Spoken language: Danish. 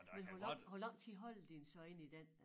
Men hvor lang hvor lang tid holder de den så inde i den?